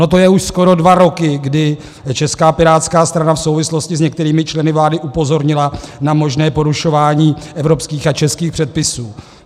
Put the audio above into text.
Ono to je už skoro dva roky, kdy Česká pirátská strana v souvislosti s některými členy vlády upozornila na možné porušování evropských a českých předpisů.